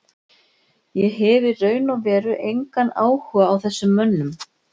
Ég hef í raun og veru engan áhuga á þessum mönnum.